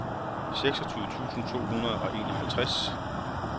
seksogtyve tusind to hundrede og enoghalvtreds